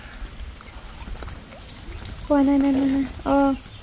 পোৱা নাই মেম, মেমে, আহ